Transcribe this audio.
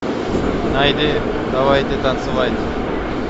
найди давайте танцевать